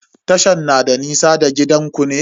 Tashan na da nisa da gidanku ne?